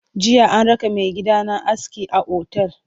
Jiya an raka maigidana aski a otal.